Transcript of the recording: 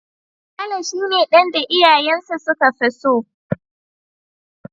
Saleh shi ne dan da iyayensa su ka fi so.